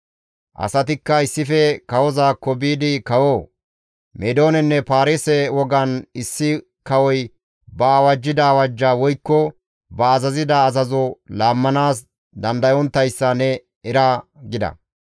Asatikka issife kawozaakko biidi «Kawoo! Meedoonenne paarise wogan issi kawoy ba awajjida awajja woykko ba azazida azazo laammanaas dandayonttayssa ne era!» gida.